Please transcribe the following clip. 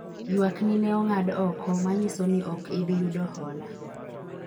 ywak ni ne ong'ad oko ,manyiso ni ok ibi yudo hola